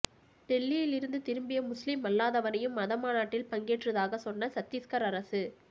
டெல்லியில் இருந்து திரும்பிய முஸ்லிம் அல்லாதவரையும் மத மாநாட்டில் பங்கேற்றதாக சொன்ன சத்தீஸ்கர் அரசு